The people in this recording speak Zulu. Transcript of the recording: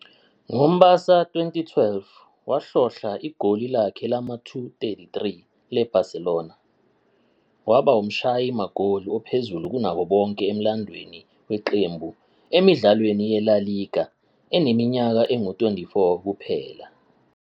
NgoMbasa 2012, wahlohla igoli lakhe lama-233 le-Barcelona, waba umshayi magoli ophezulu kunabo bonke emlandweni weqembu emidlalweni yeLa Liga eneminyaka engu-24 kuphela.